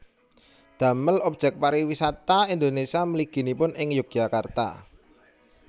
Damel objek pariwisata Indonesia mliginipun ing Yogyakarta